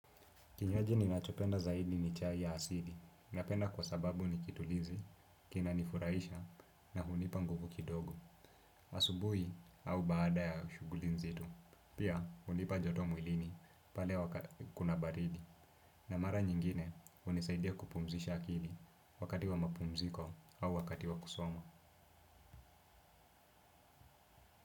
Kinywaji ninachopenda zaidi ni chai ya asili. Napenda kwa sababu ni kitulizi, kina nifurahisha na hunipa nguvu kidogo. Asubuhi au baada ya ushuguli nzito. Pia hunipa joto mwilini pale kuna baridi. Na mara nyingine hunisaidia kupumzisha akili wakati wa mapumziko au wakati wa kusoma.